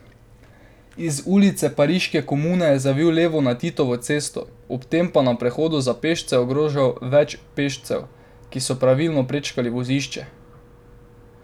Iz Ulice Pariške komune je zavil levo na Titovo cesto, ob tem pa na prehodu za pešce ogrožal več pešcev, ki so pravilno prečkali vozišče.